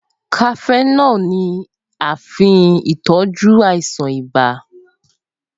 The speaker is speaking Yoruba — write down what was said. Cafenol ni a fin tọ́jú àìsàn ibà